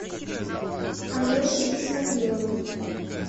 алеше исмагилову